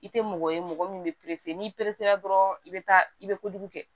I tɛ mɔgɔ ye mɔgɔ min bɛ n'i peresera dɔrɔn i bɛ taa i bɛ kojugu kɛ